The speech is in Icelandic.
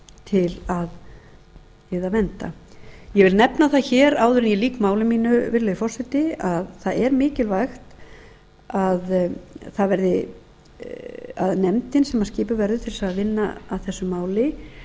til að vernda ég vil nefna það hér áður en ég lýk máli mínu virðulegi forseti að það er mikilvægt að nefndin sem skipuð verður til þess að vinna